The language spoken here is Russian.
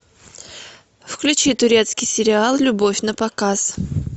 включи турецкий сериал любовь на показ